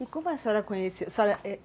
E como a senhora conheceu?